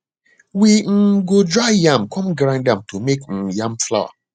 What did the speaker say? we um go dry yam come grind am to make um yam flour